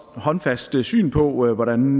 håndfast syn på hvordan